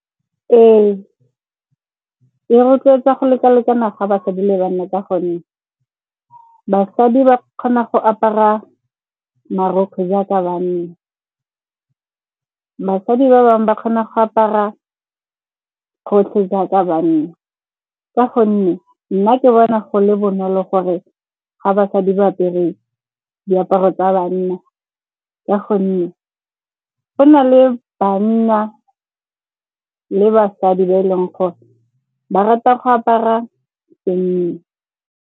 Ee, e rotloetsa go lekalekana ga basadi le banna ka gonne basadi ba kgona go apara marokgwe jaaka banna. Basadi ba bangwe ba kgona go apara gotlhe jaaka banna ka gonne nna ke bona go le bonolo gore ga basadi ba apere diaparo tsa banna, ka gonne go na le banna le basadi ba e leng gore ba rata go apara senna.